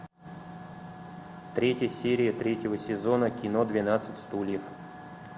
третья серия третьего сезона кино двенадцать стульев